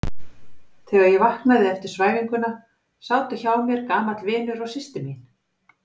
Þegar ég vaknaði eftir svæfinguna sátu hjá mér gamall vinur og systir mín.